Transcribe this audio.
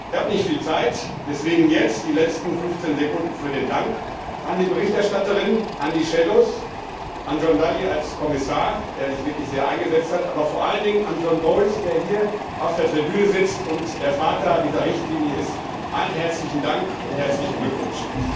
Ich habe nicht viel Zeit, deswegen jetzt die letzten 15 Sekunden für den Dank an die Berichterstatterin, an die Schattenberichterstatter, an John Dalli als Kommissar, der sich wirklich sehr eingesetzt hat, aber vor allem an John Bowis, der hier auf der Tribüne sitzt und der Vater dieser Richtlinie ist. Allen herzlichen Dank und herzlichen Glückwunsch!